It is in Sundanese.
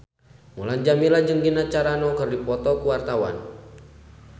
Mulan Jameela jeung Gina Carano keur dipoto ku wartawan